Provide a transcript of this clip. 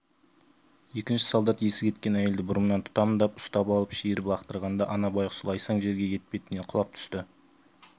екінші солдат есі кеткен әйелді бұрымынан тұтамдап ұстап алып шиіріп лақтырғанда ана байғұс лайсаң жерге етпетінен құлап түсті